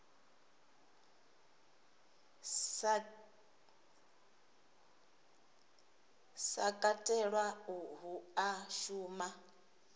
sa katelwa hu a shuma